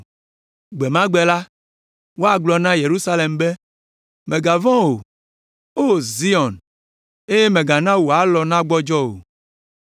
Gbe ma gbe la, woagblɔ na Yerusalem be, “Mègavɔ̃ o, O Zion, eye mègana wò alɔ nagbɔdzɔ o.